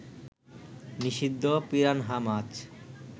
নিষিদ্ধ পিরানহা মাছ